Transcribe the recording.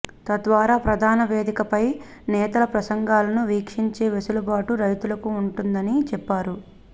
తద్వారా ప్రధాన వేదికపై నేతల ప్రసంగాలను వీక్షించే వెసులుబాటు రైతులకు ఉంటుందని చెప్పారు